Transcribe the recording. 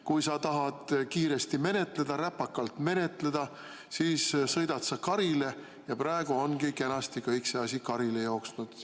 Kui sa tahad kiiresti menetleda, räpakalt menetleda, siis sõidad sa karile ja praegu ongi kenasti kõik see asi karile jooksnud.